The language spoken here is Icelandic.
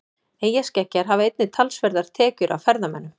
Eyjaskeggjar hafa einnig talsverðar tekjur af ferðamönnum.